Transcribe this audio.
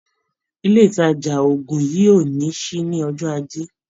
Ilé ìtàjà oògùn yìí ò ní ṣí ní ọjọ́ Ajé.